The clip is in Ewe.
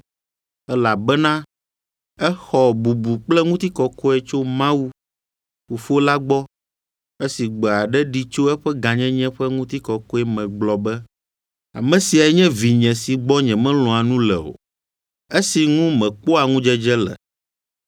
Elabena exɔ bubu kple ŋutikɔkɔe tso Mawu, Fofo la gbɔ esi gbe aɖe ɖi tso eƒe Gãnyenye ƒe Ŋutikɔkɔe me gblɔ be, “Ame siae nye Vinye si gbɔ nyemelɔ̃a nu le o, esi ŋu mekpɔa ŋudzedze le.”